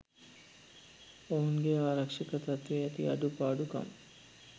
ඔවුන්ගේ ආරක්ෂක තත්වයේ ඇති අඩු පාඩු කම්